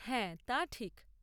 হ্যাঁ, তা ঠিক!